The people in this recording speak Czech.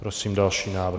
Prosím další návrh.